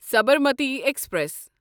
Sabarmati express